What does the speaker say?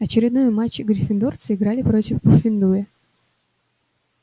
очередной матч гриффиндорцы играли против пуффендуя